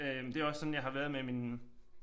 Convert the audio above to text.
Øh det også sådan jeg har været med mine